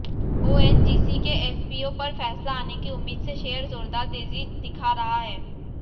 ONGC के FPO पर फैसला आने की उम्मीद से शेयर जोरदार तेजी दिखा रहा है